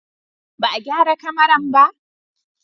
Ba a gyara kamaran ba?